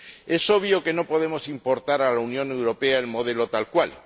Es obvio que no podemos importar a la Unión Europea el modelo tal cual.